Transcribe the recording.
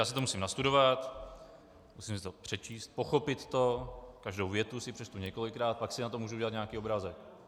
Já si to musím nastudovat, musím si to přečíst, pochopit to, každou větu si přečtu několikrát, pak si o tom mohu udělat nějaký obrázek.